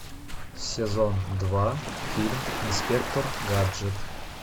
сезон два фильм инспектор гаджет